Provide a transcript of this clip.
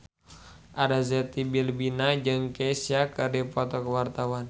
Arzetti Bilbina jeung Kesha keur dipoto ku wartawan